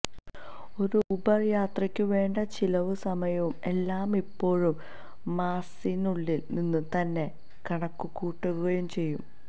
ഒരു ഊബര് യാത്രയ്ക്കു വേണ്ട ചിലവും സമയവും എല്ലാം ഇപ്പോഴും മാപ്സിനുള്ളില് നിന്നു തന്നെ കണക്കുകൂട്ടുകയും ചെയ്യാം